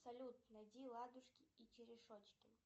салют найди ладушки и черешочки